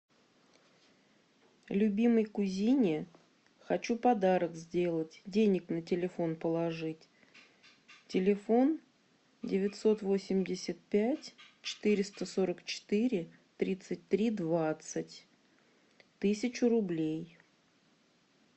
любимой кузине хочу подарок сделать денег на телефон положить телефон девятьсот восемьдесят пять четыреста сорок четыре тридцать три двадцать тысячу рублей